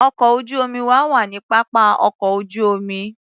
Ọkọ̀ ojú-omi wa wà ní pápá ọkọ̀ ojú-omi.